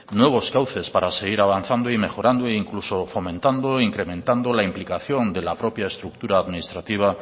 nuevos cauces para seguir avanzando y mejorando incluso fomentando e incrementando la implicación de la propia estructura administrativa